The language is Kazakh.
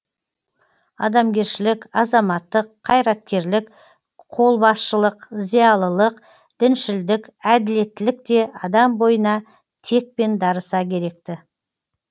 адамгершілік азаматтық қайраткерлік қолбасшылық зиялылық діншілдік әділеттілік те адам бойына текпен дарыса керек ті